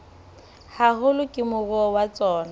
haholo ke moruo wa tsona